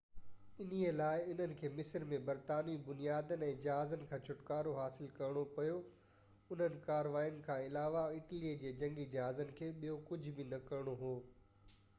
انهي لاءِ انهن کي مصر ۾ برطانوي بنيادن ۽ جهازن کان ڇُٽڪارو حاصل ڪرڻو پيو اُنهن ڪارواين کان علاوه اٽلي جي جنگي جهازن کي ٻيو ڪجهه به نه ڪرڻو هو